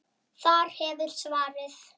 Þar hefurðu svarið.